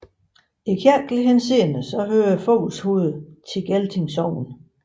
I kirkelig henseende hører Fovlshoved til Gelting Sogn